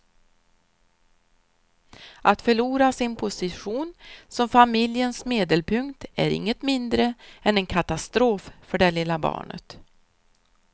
Att förlora sin position som familjens medelpunkt är inget mindre än en katastrof för det lilla barnet.